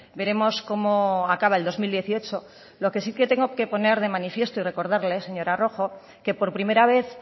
veremos como acaba el dos mil dieciocho lo que sí que tengo que poner de manifiesto y recordarle señora rojo es que por primera vez